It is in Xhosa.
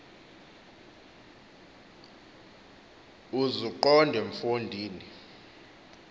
uzuqonde mfo ndini